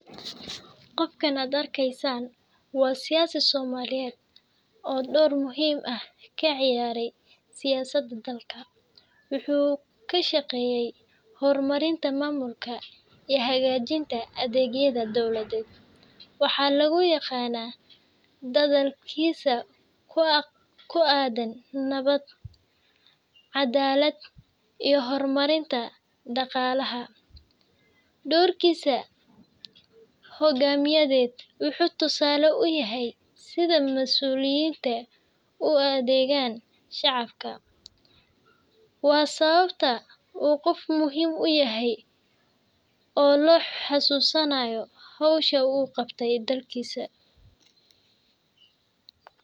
Qofkan aad arkaysaan waa siyaasi Soomaaliyeed oo door muhiim ah ka ciyaaray siyaasadda dalka. Waxa uu ka shaqeeyey horumarinta maamulka iyo hagaajinta adeegyada dowladda. Waxaa lagu yaqaan dadaalkiisa ku aaddan nabadda, cadaaladda, iyo horumarinta dhaqaalaha. Doorkiisa hoggaamineed wuxuu tusaale u yahay sida mas'uuliyiintu ugu adeegaan shacabka. Waa sababta uu qofkan muhiim u yahay oo loo xusuusanayo hawsha uu u qabtay dalkiisa.